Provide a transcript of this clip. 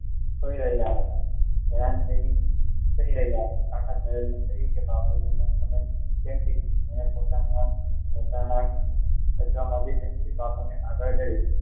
સુઈ રહ્યા હતા હેરાન થઈ કાકા સાહેબે બાપુને પોતાના ખિસ્સામાંથી પેન્સિલ આગળ ધરી